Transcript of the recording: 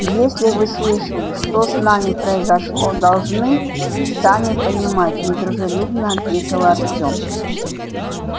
если вы слышали что с нами произошло должны сами понимать недружелюбно ответил артём